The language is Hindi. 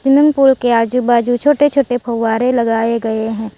स्विमिंग पूल के आजू बाजू छोटे छोटे फव्वारे लगाए गए है।